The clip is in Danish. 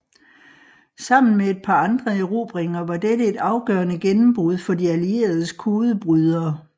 Sammen med et par andre erobringer var dette et afgørende gennembrud for De Allieredes kodebrydere